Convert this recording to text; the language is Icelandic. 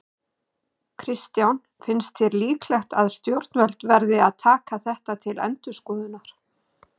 Kristján: Finnst þér líklegt að stjórnvöld verði að taka þetta til endurskoðunar?